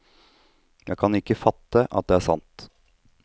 Jeg kan ikke fatte at det er sant.